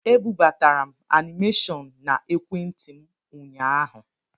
E bubatara m anịmeshọn na ekwentị m ụnyaahụ.